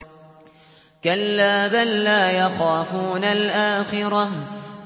كَلَّا ۖ بَل لَّا يَخَافُونَ الْآخِرَةَ